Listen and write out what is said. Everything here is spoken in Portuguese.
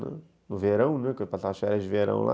Né, no verão, né, que eu passava as férias de verão lá.